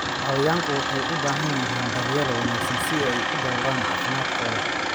Xayawaanku waxay u baahan yihiin daryeel wanaagsan si ay u dhawraan caafimaadkooda.